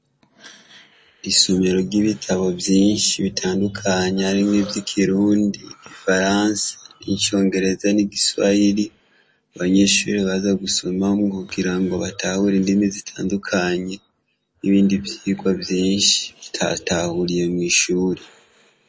Isomero ry'ibitabu vyinshi bitandukanye harimwo ivy'ikirundi, igifaransa, n'icongereza n'igiswahiri, abanyeshure baza gusomamwo kugira ngo batahure indimi zitandukanye, n'ibindi vyigwa vyinshi batatahuriye mw'ishure.